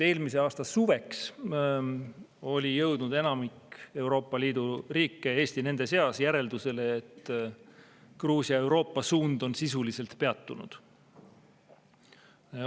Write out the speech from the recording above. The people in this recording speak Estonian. Eelmise aasta suveks oli jõudnud enamik Euroopa Liidu riike, Eesti nende seas, järeldusele, et Gruusia Euroopa-suund on sisuliselt peatunud.